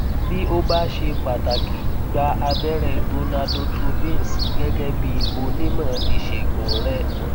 bí ó bá ṣe pàtàkì gba abẹrẹ gonadotropins gẹgẹ bí onímọ ìṣègùn rẹ